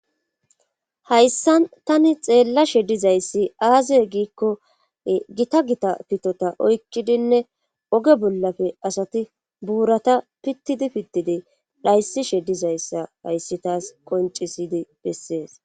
Hayssa tani xeella she dizayssi aazeee giikko gita gita pitota oykkidinne oge bollafe asati buurata pittidi pittidi dhayssishe dizayssa hayssi taas qoncisidi bessees.